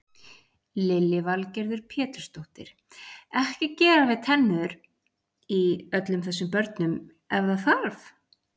Lillý Valgerður Pétursdóttir: Ekki gera við tennur í öllum þessum börnum ef það þarf?